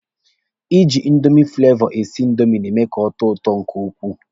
Ịjị indomi fụlevọ esi indomi na-eme ka ọ tọọ ụtọ nke ukwuu.